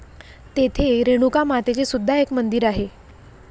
तेथे रेणुका मातेचे सुद्धा एक मंदिर आहे.